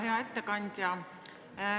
Hea ettekandja!